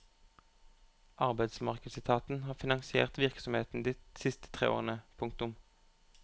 Arbeidsmarkedsetaten har finansiert virksomheten de siste tre årene. punktum